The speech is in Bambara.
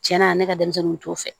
Tiɲɛna ne ka denmisɛnninw t'o fɛ